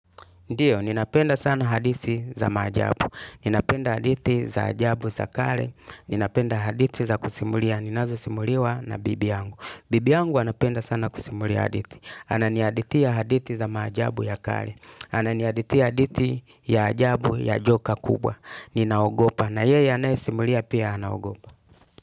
Ndiyo, ninapenda sana hadithi za maajabu, ninapenda hadithi za ajabu za kale, ninapenda hadithi za kusimulia, ninazosimuliwa na bibi yangu. Bibi yangu anapenda sana kusimulia hadithi, ananihadithia hadithi za maajabu ya kale, ananihadithi ya hadithi ya ajabu ya joka kubwa, ninaogopa na yeye anayesimulia pia anagopa.